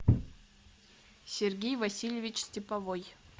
сергей васильевич степовой